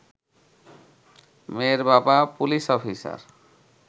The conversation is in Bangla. মেয়ের বাবা পুলিশ অফিসার